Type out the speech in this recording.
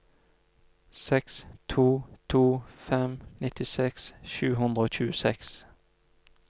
seks to to fem nittiseks sju hundre og tjueseks